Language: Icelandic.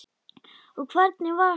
Og hvernig var hann?